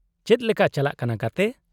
-ᱪᱮᱫ ᱞᱮᱠᱟ ᱪᱟᱞᱟᱜ ᱠᱟᱱᱟ, ᱜᱟᱛᱮ ?